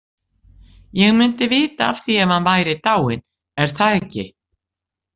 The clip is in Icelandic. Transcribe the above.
Ég myndi vita af því ef hann væri dáinn, er það ekki?